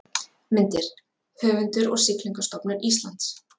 Myndir: Höfundur og Siglingastofnun Íslands